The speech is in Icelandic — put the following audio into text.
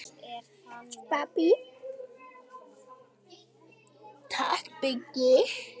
Takk Biggi.